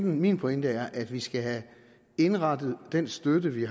min pointe er at vi skal have indrettet den støtte vi